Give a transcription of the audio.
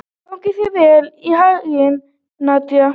Gangi þér allt í haginn, Nadia.